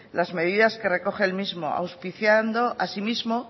las medidas que recoge el mismo auspiciando asimismo